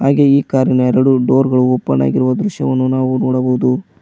ಹಾಗೆ ಈ ಕಾರಿ ನ ಎರಡು ಡೋರ್ಗ ಳು ಓಪನ್ ಆಗಿರುವ ದೃಶ್ಯವನ್ನು ನಾವು ನೋಡಬಹುದು.